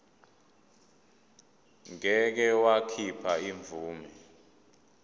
ngeke wakhipha imvume